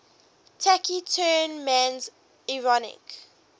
taciturn man's ironic